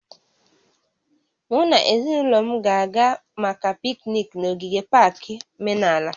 Mụ na ezinụlọ m ga-aga maka pikniiki n'ogige pak menala